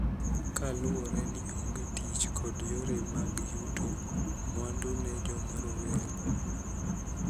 Kaluwore ni onge tich kod yore mag yuto mwandu ne joma rowere.